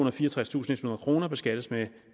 og fireogtredstusindethundrede kroner beskattes med